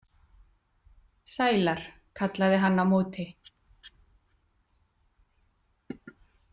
Sælar, kallaði hann á móti.